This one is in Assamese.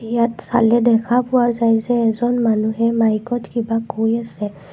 ইয়াত চলে দেখা পোৱা যায় যে এজন মানুহে মাইকত কিবা কৈ আছে।